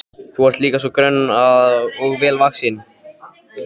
Þú ert líka svo grönn og vel vaxin.